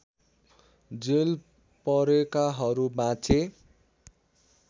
jail परेकाहरू बाँचे